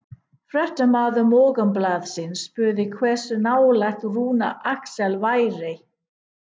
Fréttamaður Morgunblaðsins spurði hversu nálægt Rúnar Alex væri?